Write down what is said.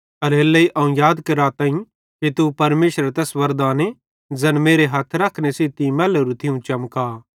एल्हेरेलेइ अवं तीं याद कराताईं कि तू परमेशरेरे तैस वरदाने ज़ैन मेरे हथ रखने सेइं तीं मैल्लोरू थियूं चमका